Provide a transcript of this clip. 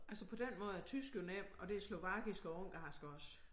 Altså på den måde er tysk jo nem og det er slovakisk og ungarsk også